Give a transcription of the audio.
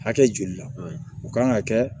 Hakɛ joli la u kan ka kɛ